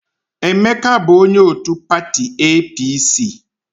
Emeka bụ onye òtù pati EePiiSii.